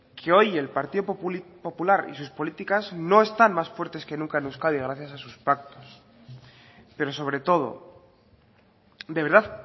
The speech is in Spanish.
que hoy el partido popular y sus políticas no están más fuertes que nunca en euskadi gracias a sus pactos pero sobretodo de verdad